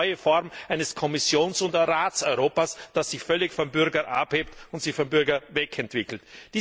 Das ist eine neue Form eines Kommissions oder Rats Europas, das sich völlig vom Bürger abhebt und sich vom Bürger wegentwickelt.